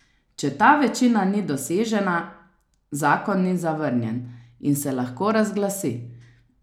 Če ta večina ni dosežena, zakon ni zavrnjen in se lahko razglasi.